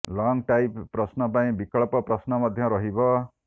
long type ପ୍ରଶ୍ନ ପାଇଁ ବିକଳ୍ପ ପ୍ରଶ୍ନ ମଧ୍ୟ ରହିବ